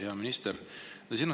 Hea minister!